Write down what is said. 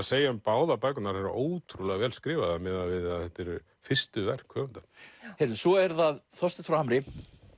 segja um báðar bækurnar eru ótrúlega vel skrifaðar miðað við að þetta eru fyrstu verk höfunda svo er það Þorsteinn frá Hamri